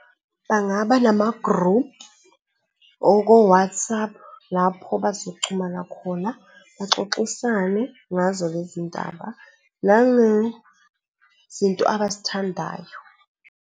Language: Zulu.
Bangaba nama-group, oko-WhatsApp lapho bazoxhumana khona, baxoxisane ngazo lezindaba nangezinto abazithandayo.